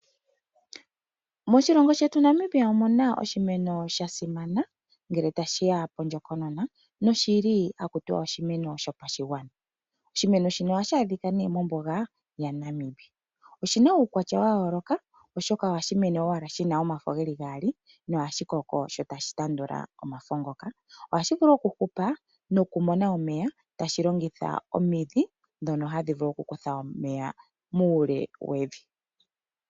Moshilongo shetu Namibia omuna oshimeno shasima ngele tashiya oondjokonona noshili oshimeno dhopashigwana. Oshimeno shino tashaadhika mombunga yaNamibia noshina uukwatya wa yooloka oshoka ohashi mene owala omafo ngaali nangele shakoko opo née hashi tandula omafo ngaka, ohashi hupu komeya ngoka haga kuthwa kohi yevi komidhi.